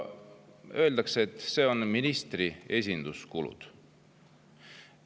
Öeldakse, et see on ministri esinduskuludeks.